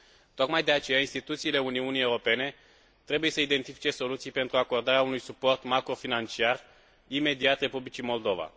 Tocmai de aceea instituțiile Uniunii Europene trebuie să identifice soluții pentru acordarea unui suport macrofinanciar imediat Republicii Moldova.